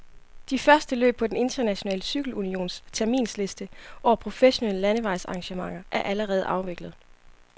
De første løb på den internationale cykelunions terminsliste over professionelle landevejsarrangementer er allerede afviklet.